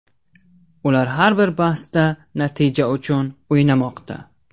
Ular har bir bahsda natija uchun o‘ynamoqda.